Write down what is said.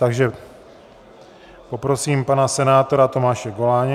Takže poprosím pana senátora Tomáše Goláně.